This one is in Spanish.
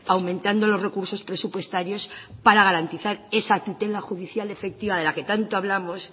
aumentando los recursos presupuestarios para garantizar esa tutela judicial efectiva de la que tanto hablamos